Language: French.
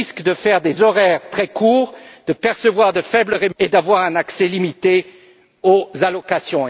Elles risquent d'avoir des horaires très courts, de percevoir une faible rémunération et d'avoir un accès limité aux allocations.